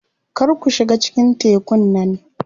Kar ku shiga cikin tekun nan.